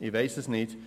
Ich weiss es nicht.